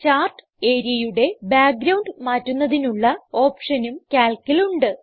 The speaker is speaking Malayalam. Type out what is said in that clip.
ചാർട്ട് areaയുടെ ബ്യാക്ക് ഗ്രൌണ്ട് മാറ്റുന്നതിനുള്ള ഓപ്ഷനും Calcൽ ഉണ്ട്